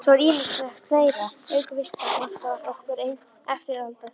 Svo er ýmislegt fleira: Auk vista vantar okkur eftirtalda hluti